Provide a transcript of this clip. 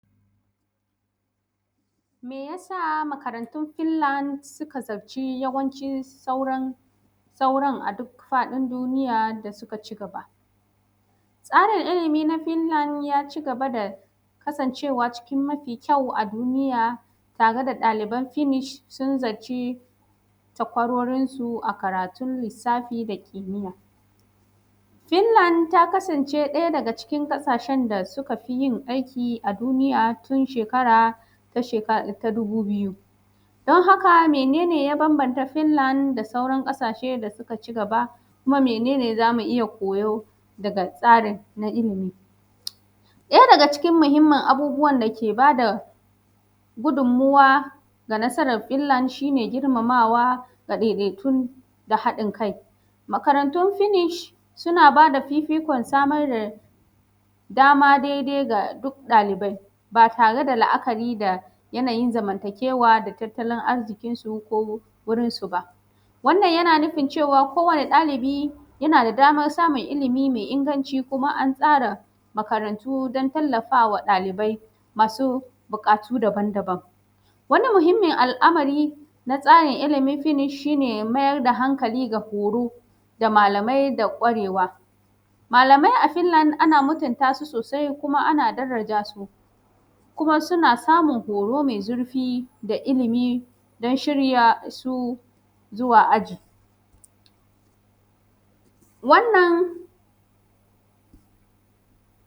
Me ya sa makarantun Finland suka zaci yawancin sauran, sauran a duk faɗin duniya da suka cigaba. Tsarin ilimi na Finland ya cigaba da kasancewa cikn mafi kyawo a duniya, tare da ɗaliban Finnish sun zaci takwarorinsu a karatun lissafi da kimiyya. Finlad ta kasance ɗaja daga cikin ƙasashen da suka fi yin aiki a duniya tun shekara ta sheka ta dubu biyu. Don haka mene ne ya bambanta Finlad da sauran ƙasashen da cigaba? Kuma mene n za mu iya koyo daga tsari na ilimi? Ɗaya daga cikin muhimmin abubuwan da ke ba da gudumuwa ga nasarar Finlad shi ne, girmamawa ga ɗaiɗaikun da haɗin kai. Makarantun Finish suna ba da fifikon samar da dama daidai ga duk ɗalibai, ba tare da li’akari da yanayin zamantakewa da tattalin arziknsu ko wurinsu ba. wannan yana nufin cewa kowane ɗalibi yana da damar samun ilimi me inganci, kuma an tsara makarantu don tallafawa ɗalibai masu buƙatu daban-daban. Wani muhimmin al’amari na tsarin ilimin Finish, shi ne mayar da hankali ga horo da malamai da kwarewa. Malamai a Finlad ana mutunta su sosi kuma ana daraja su, kuma suna samun horo mai zurfi da ilimi don shirya su zuwa aji.